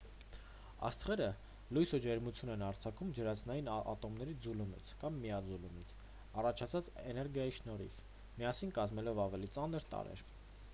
աստղերը լույս ու ջերմություն են արձակում ջրածնային ատոմների ձուլումից կամ միաձուլումից առաջացած էներգիայի շնորհիվ՝ միասին կազմելով ավելի ծանր տարրեր։